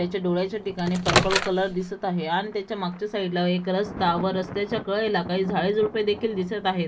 त्याच्या डोळ्याच्या ठिकाणी पर्पल कलर दिसत आहे आन त्याच्या मागच्या साईड ला एक रस्ता व रस्त्याच्या कडेला काही झाडेझुडपे देखील दिसत आहेत.